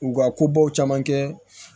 U ka kobaw caman kɛ